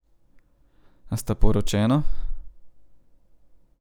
A sta poročena?